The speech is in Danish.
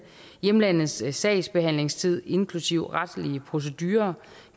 hjemlandets sagsbehandlingstid inklusive retslige procedurer